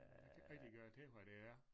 Jeg kan ikke rigtig gøre til hvad det er